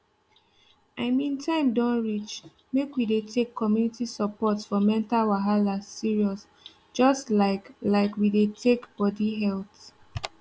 i mean time don reach make we dey take community support for mental wahala serious just like like we dey take body health